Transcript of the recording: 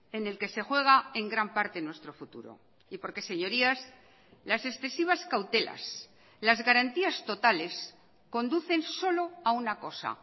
en el que se juega en gran parte nuestro futuro y porque señorías las excesivas cautelas las garantías totales conducen solo a una cosa